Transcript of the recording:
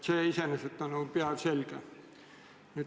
See iseenesest on ju päevselge.